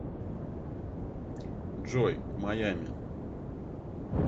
джой в майами